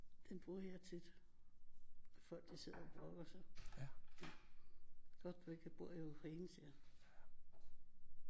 Den bruger jeg tit når folk de sidder og brokker sig godt du ikke bor i Ukraine siger jeg